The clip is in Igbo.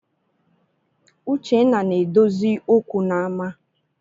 Uchenna na-edozi okwu n’ama